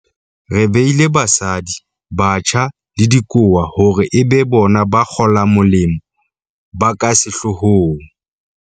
Re beile basadi, batjha le dikowa hore e be bona ba kgolamolemo ba ka sehloo hong.